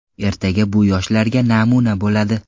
Ertaga bu yoshlarga namuna bo‘ladi”.